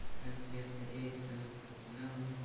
трансляция эвертона с арсеналом